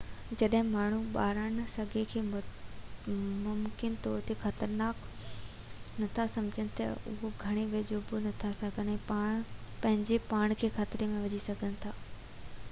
جڏهن ماڻهو ٻارانهن سڱي کي ممڪن طور تي خطرناڪ نٿا سمجهن تہ اهي گهڻو ويجهو بہ وڃي سگهن ٿا ۽ پنهنجي پاڻ کي خطري ۾ وجهي سگهن ٿا